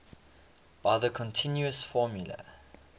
by the continuous formula